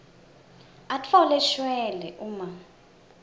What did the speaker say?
atfole shwele uma